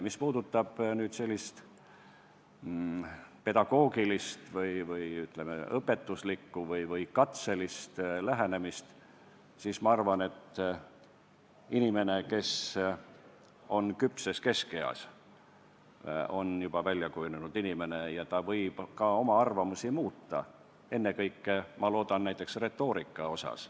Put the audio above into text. Mis puudutab sellist pedagoogilist või, ütleme, õpetuslikku või katselist lähenemist, siis ma arvan, et inimene, kes on küpses keskeas, on juba välja kujunenud ja ta võib ka oma arvamusi muuta, ennekõike, ma loodan, näiteks retoorika asjus.